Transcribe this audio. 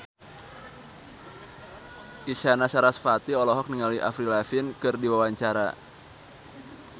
Isyana Sarasvati olohok ningali Avril Lavigne keur diwawancara